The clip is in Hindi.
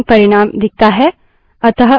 अतः फर्क क्या है